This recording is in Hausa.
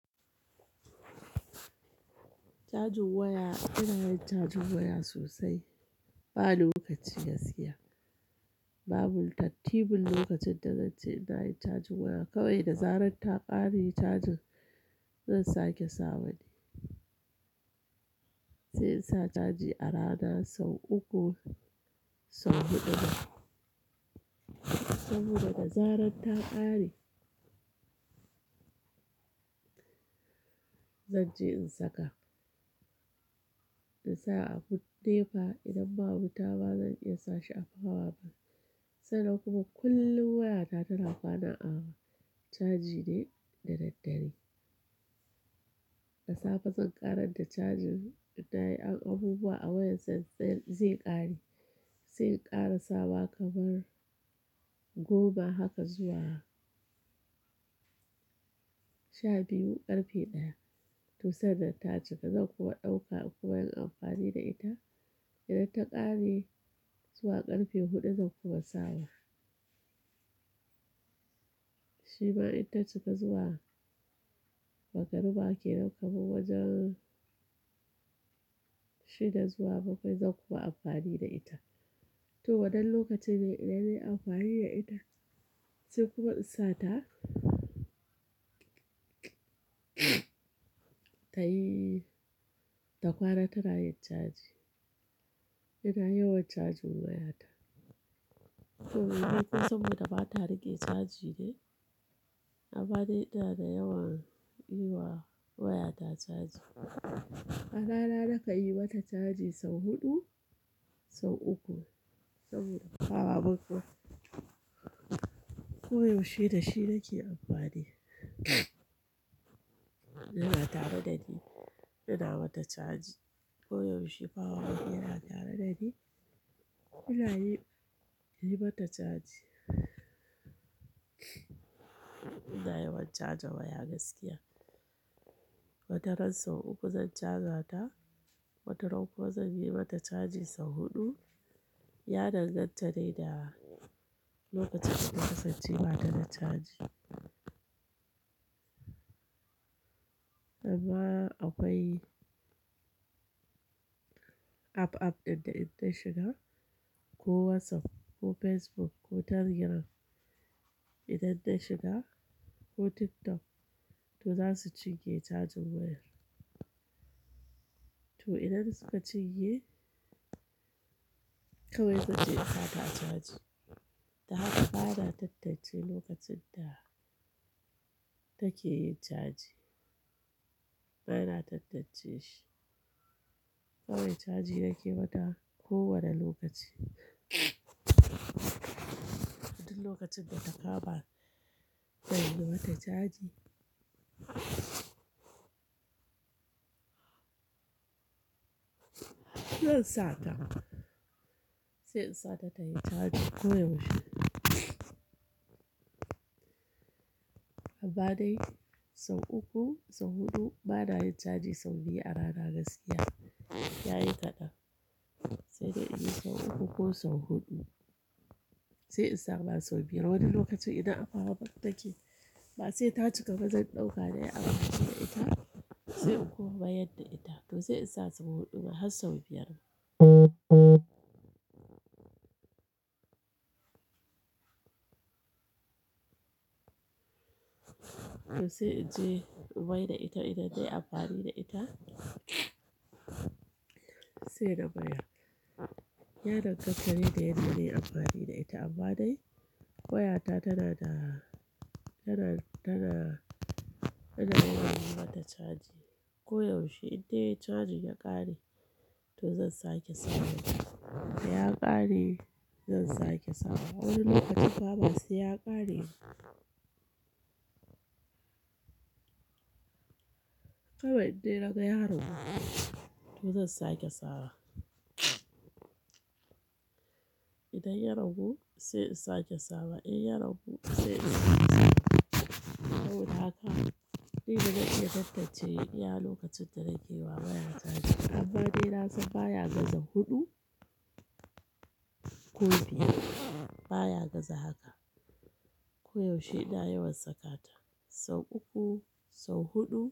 Cajin waya, ina yin cajin waya sosai. Ba lokaci gaskiya, babu tattibun lokacin da zanci ina yin cajin waya kawai da zarar ta ƙare cajin zan sake sawa dai. Sai in sa caji a rana sau uku, sau huɗu saboda da zarar ta ƙare zan je in saka. In sa a gun nepa idan ba wuta ma zan iya sa shi a powerbank. Sai nan kuma kullum wayata tana kwana a caji ne da daddare. Da safe zan ƙarar da cajin idan nayi abubuwa a wayar sai zai ƙare. Sai in ƙara sawa kamar goma haka zuwa sha biyu ƙarfe ɗaya. To sannan ta cika zan kuma ɗauka kuma yin amfani da ita. Idan ta ƙare zuwa ƙarfe huɗu zan kuma sawa. Shima idan ta cika zuwa, magaruba ke nan kamar wajen shida zuwa bakwai zan kuma amfani da ita. To waɗanne lokaci ne idan nayi amfani da ita? Sai kuma in sa ta, ta yi, ta ƙwana tana yin caji. Ina yawan caji wayata. To me ne kuma saboda ba ta rake caji ne? Amma dai ina da yawan yi wa wayata caji. A rana na kai yi mata caji sau huɗu, sau uku saboda powerbank din. Koyaushe da shi nake amfani. Yana tare da ni, ina mata caji. Koyaushe powerbank yana tare da ni. Ina yi, yi mata caji. Ina yawan caja waya gaskiya. Wata ran sau uku zan caja ta, wata ran kuma zan yi mata caji sau huɗu. Ya danganta ne da lokacin da kasance bata da caji. Amma akwai app, app ɗin da idan na shiga ko WhatsApp ko Facebook ko Telegram idan ta shiga ko TikTok to zasu cinye cajin wayar. To idan suka cinye kawai zanje in sata caji. Da haka bana tattance lokacin da take yi caji. Bana tattance shi. Kawai caji nake mata kowane lokaci. Duk lokacin da ta kama, zan yi mata caji. Zan sa ta, sai in sa ta tayi caji koyaushe. Amma dai sau uku, sau huɗu bana yin caji sau biyar a rana gaskiya. Ya yi kaɗan. Sai dai in yi sau uku ko sau huɗu. Sai in sama sau biyar. Wani lokacin idan a powerbank take ba sai ta cika ba zan ɗauka nayi amfani da ita. Sai in kuma mayar da ita to sai in sa sau huɗu ma har sau biyar. Sai in je in maida ita idan dai amfani da ita. Sai na mayar. Ya danganta ne da yadda nayi amfani da ita amma dai wayata tana da, tana, tana, ina yawan mata caji. Koyaushe idan dai cajin ya ƙare to zan sake sawa. Da ya ƙare zan sake sawa. Wani lokacin ma basai ya ƙare ba. Kawai idai naga ya ragu, to zan sake sawa. Idan ya ragu sai in sake sawa. In ya ragu sai in sake sawa. Saboda haka ni bazan iya tattance iya lokacin da nake wa waya caji. Amma dai na san baya gaza huɗu ko biyar. Baya gaza haka. Koyaushe ina yawan saka ta sau uku, sau huɗu.